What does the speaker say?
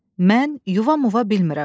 Mən yuva muva bilmirəm.